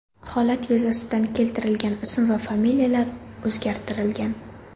Holat yuzasidan keltirlgan ism va familiyalar o‘zgartirilgan.